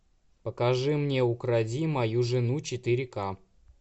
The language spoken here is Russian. покажи мне укради мою жену четыре ка